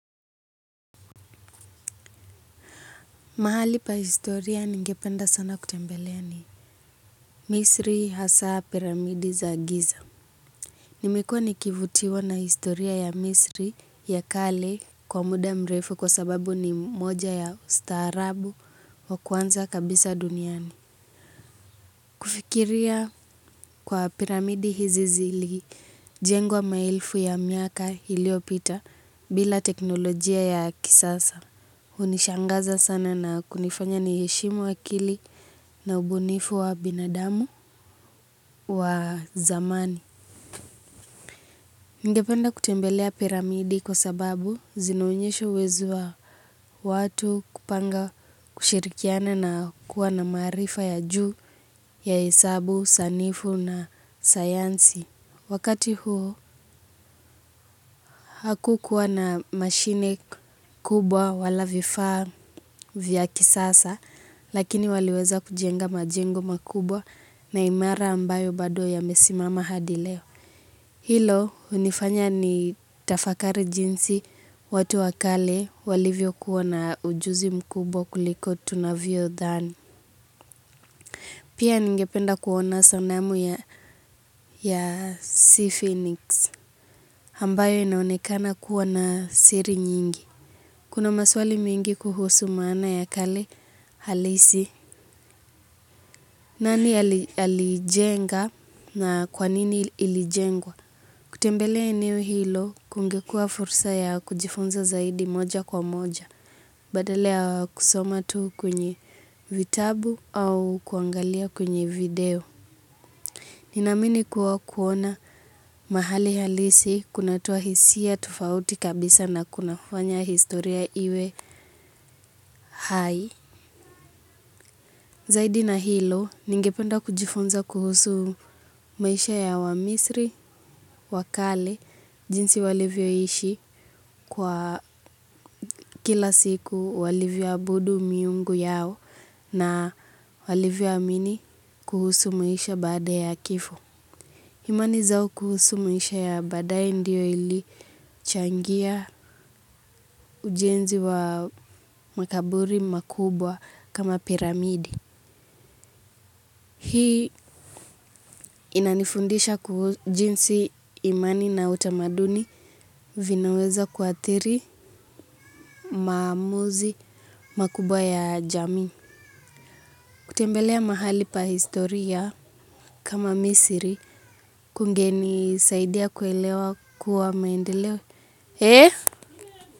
Mahali pa historia ningependa sana kutembelea ni Misri hasaa piramidi za giza nimekua nikivutiwa na historia ya Misri ya kale kwa muda mrefu kwa sababu ni moja ya ustaarabu wa kwanza kabisa duniani kufikiria kwa piramidi hizi zili jengwa mailfu ya miaka hiliopita bila teknolojia ya kisasa. Hunishangaza sana na kunifanya ni heshimu akili na ubunifu wa binadamu wa zamani. Ningependa kutembelea piramidi kwa sababu zina onyesha uwezo wa watu kupanga kushirikiana na kuwa na marifa ya juu ya hesabu, sanifu na sayansi. Wakati huo hakukuwa na mashine kubwa wala vifaa vya kisasa lakini waliweza kujenga majengo makubwa na imara ambayo bado yamesimama hadi leo. Hilo hunifanya ni tafakari jinsi watu wakale walivyo kuwa na ujuzi mkubwa kuliko tunavyo dhani. Pia ningependa kuona sanamu ya sea phoenix ambayo inaonekana kuwa siri nyingi kuna maswali mingi kuhusu maana ya kale halisi nani alijenga na kwanini ilijengwa kutembelea eneo hilo kungekua fursa ya kujifunza zaidi moja kwa moja badala ya kusoma tu kwenye vitabu au kuangalia kwenye video. Ninamini kuwa kuona mahali halisi kunatoa hisia tufauti kabisa na kunafanya historia iwe hai. Zaidi na hilo ningependa kijifunza kuhusu maisha ya wamisri wa kale jinsi walivyo ishi kwa kila siku walivyo abudu miungu yao na walivyo amini kuhusu maisha baada ya kifo. Imani zao kuhusu maisha ya badae ndiyo ili changia ujenzi wa makaburi makubwa kama piramidi. Hii inanifundisha kuhu jinsi imani na utamaduni vinaweza kuatiri, maamuzi makubwa ya jami. Kutembelea mahali pa historia kama misiri kungeni saidia kuelewa kuwa maendeleo.